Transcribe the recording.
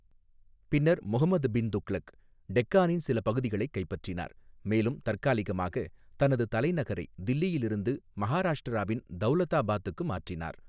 பின்னர், முஹம்மது பின் துக்ளக் டெக்காணின் சில பகுதிகளைக் கைப்பற்றினார், மேலும் தற்காலிகமாக தனது தலைநகரை தில்லியிலிருந்து மஹாராஷ்டிராவின் தௌலதாபாத்துக்கு மாற்றினார்.